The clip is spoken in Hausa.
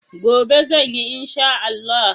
Gobe zan yi in Sha Allah.